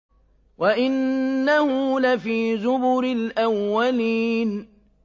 وَإِنَّهُ لَفِي زُبُرِ الْأَوَّلِينَ